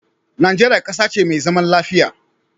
Nigeria ƙasa ce me zaman lafiya